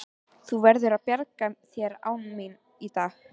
Þú verður að bjarga þér án mín í dag.